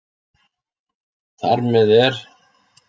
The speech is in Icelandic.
Þar með er